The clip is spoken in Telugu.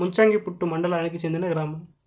ముంచంగిపుట్టు మండలానికి చెందిన గ్రామం